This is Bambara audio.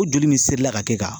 Ko joli min serila ka kɛ e ka